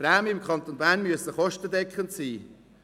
Die Prämien im Kanton Bern müssen kostendeckend sein.